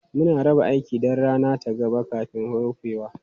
Muna raba aiki don rana ta gaba kafin rufewa.